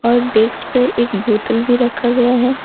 और डेस्क पे एक बोतल भी रखा गया है।